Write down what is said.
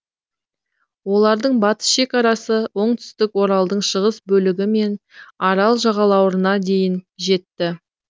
олардың батыс шекарасы оңтүстік оралдың шығыс бөлігі мен арал жағалауларына дейін жетті